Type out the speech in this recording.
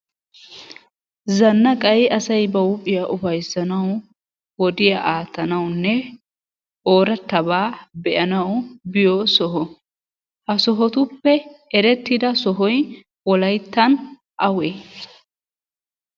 Zannaqay asay ba huuphiya ufayssanawu, wodiya aattanawunne oorattabaa be'anawu biyo soho. Ha sohotuppe erettida sohoy wolayttan awee?